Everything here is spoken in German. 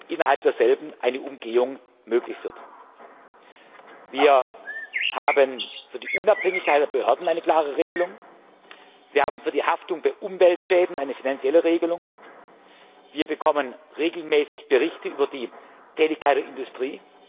innerhalb derselben eine Umgehung möglich wird. Wir haben für die Unabhängigkeit der Behörden eine klare Regelung. Wir haben für die Haftung bei Umweltschäden eine finanzielle Regelung. Wir bekommen regelmäßig Berichte über die Tätigkeit der Industrie.